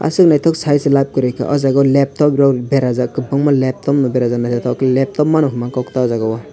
ashok naitok sai se lab koroi ka o jaga leptop rok berajak kobangma leptop no berajak naitotok ke leptop mano hingma kok ta o jaga o.